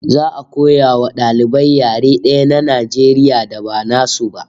Za'a koya wa dalibai yare daya na Najeriya da ba nasu ba